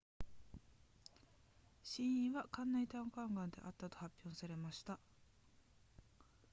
死因は肝内胆管癌であったと発表されました